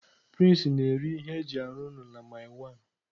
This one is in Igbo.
Prince na-ere ihe eji arụ ụlọ na mile one.